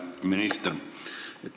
Hea minister!